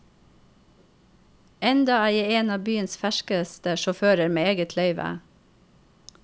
Enda er jeg en av byens ferskeste sjåfører med eget løyve.